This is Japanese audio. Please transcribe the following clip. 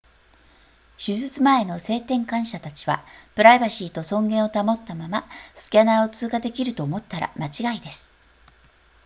手術前の性転換者たちはプライバシーと尊厳を保ったままスキャナーを通過できると思ったら間違いです